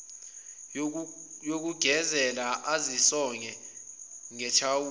yokugezela ezisonge ngethawula